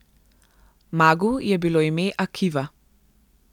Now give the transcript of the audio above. Magu je bilo ime Akiva.